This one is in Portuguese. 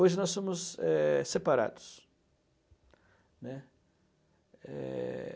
Hoje nós eh, somos separados, né. É...